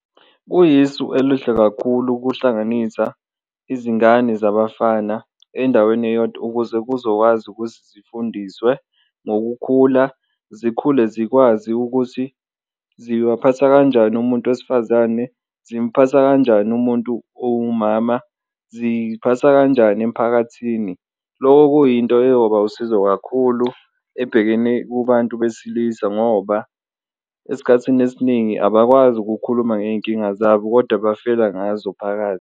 Kuyisu elihle kakhulu ukuhlanganisa izingane zabafana endaweni eyodwa ukuze kuzowazi ukuthi zifundiswe ngokukhula, zikhule zikwazi ukuthi zibaphatha kanjani umuntu wesifazane, zimphatha kanjani umuntu owumama, ziphatha kanjani emiphakathini. Loko kuyinto eyoba usizo kakhulu ebhekene kubantu besilisa ngoba esikhathini esiningi abakwazi ukukhuluma ngey'nkinga zabo kodwa bafela ngazo phakathi.